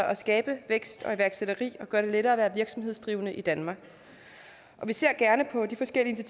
at skabe vækst og iværksætteri og gøre det lettere at være virksomhedsdrivende i danmark vi ser gerne på de forskellige